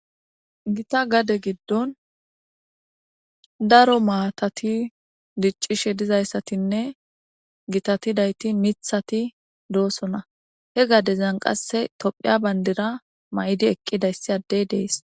gita gade giddon daro maatati diccishe dizayssatinne gitatidayti mithati doosona he gadezan qasse tophiya bandira may7di eqqidayssi addey dees